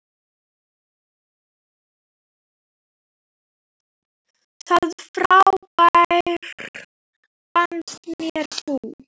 Það frábær fannst mér þú.